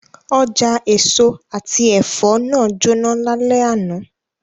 Oja eso ati ẹfọ naa jona lalẹ ana